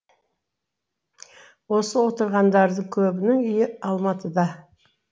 осы отырғандардың көбінің үйі алматыда